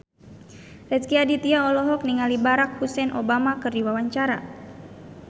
Rezky Aditya olohok ningali Barack Hussein Obama keur diwawancara